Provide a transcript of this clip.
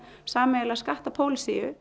sameiginlega